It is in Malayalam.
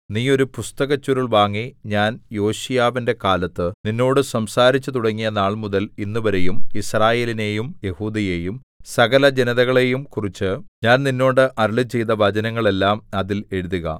നീ ഒരു പുസ്തകച്ചുരുൾ വാങ്ങി ഞാൻ യോശീയാവിന്റെ കാലത്ത് നിന്നോട് സംസാരിച്ചുതുടങ്ങിയ നാൾമുതൽ ഇന്നുവരെയും യിസ്രായേലിനെയും യെഹൂദയെയും സകലജനതകളെയുംകുറിച്ച് ഞാൻ നിന്നോട് അരുളിച്ചെയ്ത വചനങ്ങളെല്ലാം അതിൽ എഴുതുക